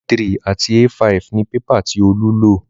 A3 àti A5 ni pépà tí Olú lò